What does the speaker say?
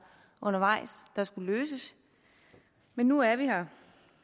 undervejs der skulle løses men nu er vi her